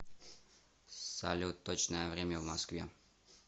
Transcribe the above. салют точное время в москве